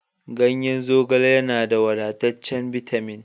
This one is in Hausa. Ganyen zogale yana da wadataccen bitamin